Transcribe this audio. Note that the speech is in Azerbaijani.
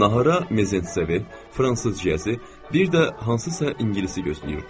Nahara Mezentsevi, fransız Cyezi, bir də hansısa ingilisi gözləyirdilər.